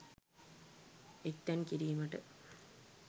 එක්තැන් කිරීමට